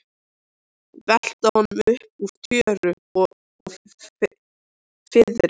Velta honum upp úr tjöru og fiðri!